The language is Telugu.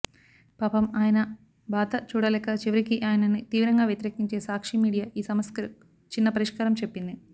పాపం ఆయన బాధ చూడలేక చివరికి ఆయనని తీవ్రంగా వ్యతిరేకించే సాక్షి మీడియా ఈ సమస్యకు చిన్న పరిష్కారం చెప్పింది